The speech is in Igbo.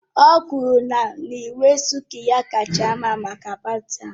O kwuru na uwe sílku ya kacha mma maka paati ahụ